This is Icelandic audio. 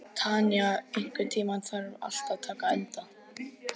Tanya, einhvern tímann þarf allt að taka enda.